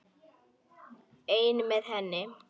Einn með henni.